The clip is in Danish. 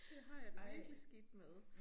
Det har jeg det virkelig skidt med